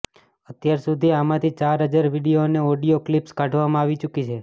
અત્યાર સુધી આમાંથી ચાર હજાર વીડિયો અને ઑડિયા ક્લિપ્સ કાઢવામાં આવી ચૂકી છે